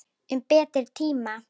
Um betri tíma.